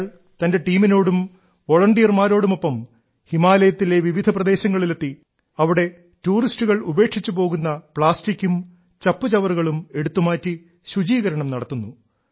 അയാൾ തന്റെ ടീമിനോടും വോളണ്ടിയർമാരോടുമൊപ്പം ഹിമാലയത്തിലെ വിവിധ പ്രദേശങ്ങളിൽ എത്തി അവിടെ ടൂറിസ്റ്റുകൾ ഉപേക്ഷിച്ചു പോകുന്ന പ്ലാസ്റ്റിക്കും ചപ്പുചവറുകളും എടുത്തുമാറ്റി ശുചീകരണം നടത്തുന്നു